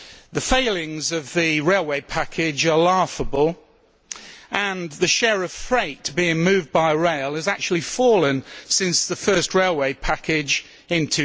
The failings of the railway package are laughable, and the share of freight being moved by rail has actually fallen since the first railway package in